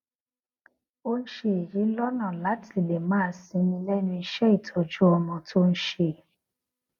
ó n ṣe èyí lọnà láti lè máa sinmi lẹnu iṣẹ ìtọjú ọmọ tó n ṣe